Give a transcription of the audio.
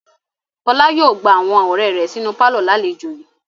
Fọlá yóò gba awọn ọ̀rẹ́ rẹ̀ sínú pálọ̀ lálejò yìí.